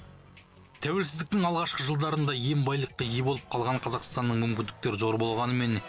тәуелсіздіктің алғашқы жылдарында иен байлыққа ие болып қалған қазақстанның мүмкіндіктері зор болғанымен